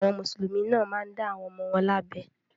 Àwọn Mùsùlùmí náà máa ń dá àwọn ọmọ wọn lábẹ.